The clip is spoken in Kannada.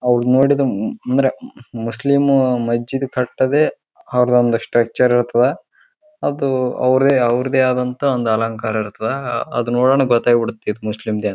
ಅವರ್ನ್ ನೋಡಿದ್ರ ಅಂದ್ರ ಮುಸ್ಲಿಂ ಮಸ್ಜಿದ್ ಕಟದೆ ಅವರ್ದ ಒಂದು ಸ್ಟ್ರಕ್ಚರ್ ಇರ್ತದ ಅದು ಅವರ್ದೇ ಅವರ್ದೆ ಅದಂತ ಒಂದು ಅಲಂಕಾರ ಇರ್ತದ ಅದು ನೋಡಣ ಗೊತ್ತಾಗಿಬಿಡ್ತದ ಇದು ಮುಸ್ಲಿಂ ದೆ ಅಂತ.